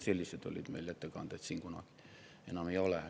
Sellised olid meil ettekanded siin kunagi, aga enam ei ole.